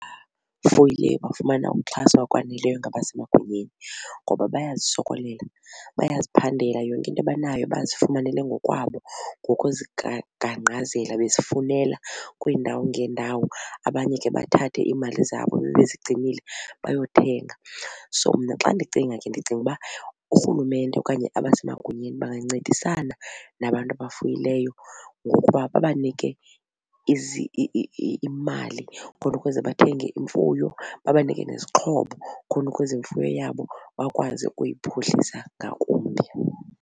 bafumana ukuxhaswa ngokwaneleyo ngabasemagunyeni ngoba bayazisokolela bayaziphandela yonke into abanayo bazifumanele ngokwabo ngokuzigaqazela bezifunela kwiindawo ngeendawo. Abanye ke bathathe iimali zabo ebebezigcinile bayothenga. So, mna xa ndicinga ke ndicinga uba uRhulumente okanye abasemagunyeni bangancedisana nabantu abafuyileyo ngokuba babanike imali khona ukuze bathenge imfuyo, babanike nezixhobo khona ukuze imfuyo yabo bakwazi ukuyiphuhlisa ngakumbi.